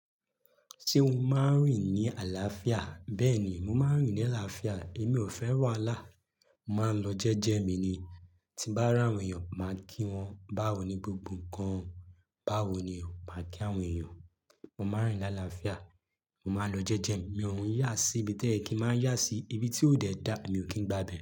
Ṣé o máa ń rìn ní àlàáfíà? Bẹ́ẹ̀ ni, mo máa ń rìn ní àlàáfíà. Èmi ò fẹ́ràn wàhálà. Mo máa ń lọ jẹ́jẹ́ mi ni. Tí n bá ràwọn èèyàn, màá kí wọ́n. Báwo ni gbogbo ǹkan? Báwo ni o máa kí àwọn èèyàn? Mo máa ń rìn ní àlàáfíà. Mo máa ń lọ jẹ́jẹ́ mi. Mo n yà sí ibi toyẹ́ kí n má yà sí ibi tí ó dẹ̀ dá, emi ò kí ń gba ibe.